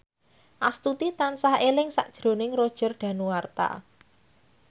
Astuti tansah eling sakjroning Roger Danuarta